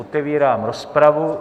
Otevírám rozpravu.